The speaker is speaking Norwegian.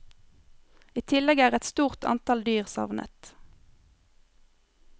I tillegg er et stort antall dyr savnet.